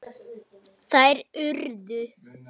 Þær urðu